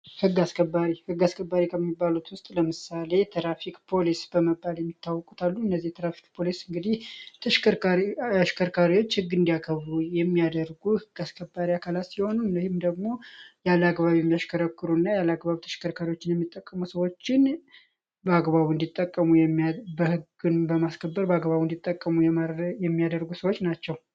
ህግ አስከባሪ ህግ አስከባሪ ከሚባሉት ውስጥ ለምሳሌ የትራፊክ ፖሊስ እንግዲህ አሽከርካሪዎች ህግ እንዲያከብሩ የሚያደርጉ የህግ አካላት ሲሆኑ እነዚህም ደግሞ ያለ አግባብ ያሚያሽከረክሩ እና ያላግባብ ተሽከርካሪዎችን ህግን በማስከበር በአግባቡ እንዲጠቀሙ የሚያደርጉ ሰዎች ናቸው።